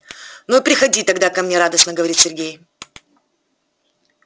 ну и приходи тогда ко мне радостно говорит сергей